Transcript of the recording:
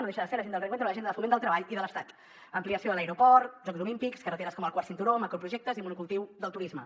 no deixa de ser l’agenda del reencuentro l’agenda de foment del treball i de l’estat ampliació de l’aeroport jocs olímpics carreteres com el quart cinturó o macroprojectes i monocultiu del turisme